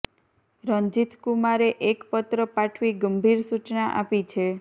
રંજીથ કુમારે એક પત્ર પાઠવી ગંભીર સુચના આપી છે